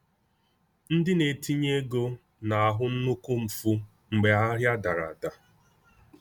Ndị na-etinye ego na-ahụ nnukwu mfu mgbe ahịa dara ada.